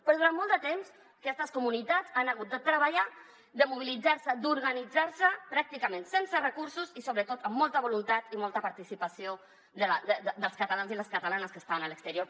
però durant molt de temps aquestes comunitats han hagut de treballar de mobilitzar se d’organitzar se pràcticament sense recursos i sobretot amb molta voluntat i molta participació dels catalans i les catalanes que estan a l’exterior